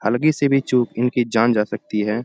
हलकी सी भी चुक इनकी जान जा सकती है।